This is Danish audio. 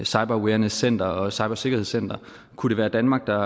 cyberawarenesscenter og cybersikkerhedscenter kunne det være danmark der